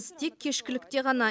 тек кешкілікте ғана